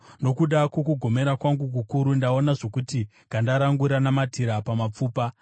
Nokuda kwokugomera kwangu kukuru ndaonda zvokuti ganda rangu ranamatira pamapfupa.